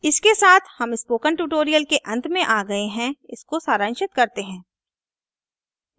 इसके साथ हम स्पोकन ट्यूटोरियल के अंत में आ गए हैं इसको सरांशित करते हैं